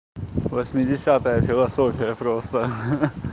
восьмидесятая философия просто ха-ха